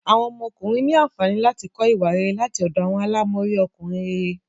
Awọn ọmọkùnrin ní ànfàní láti kọ ìwà rere láti ọdọ awọn àlámọrí Ọkùnrin réré